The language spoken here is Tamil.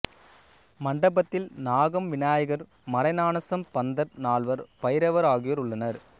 மண்டபத்தில் நாகம் விநாயகர் மறைஞானசம்பந்தர் நால்வர் பைரவர் ஆகியோர் உள்ளனர்